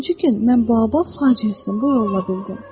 Üçüncü gün mən Baobab faciəsini bu yolla bildim.